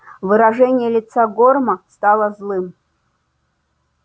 выражение лица горма стало злым